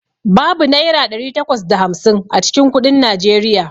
Babu Naira ɗari takwas da hamsin a cikin kuɗin Najeriya.